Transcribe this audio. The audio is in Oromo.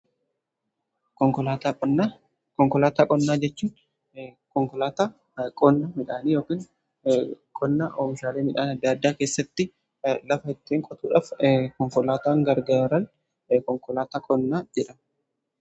konkolaataa qonnaa jechuun konkolaataa qonna midhaanii yookiin qonnaa oomishaalee midhaan adda addaa keessatti lafa ittiin qotuudhaaf konkolaataan gargaaru konkolaataa qonnaa jedhama.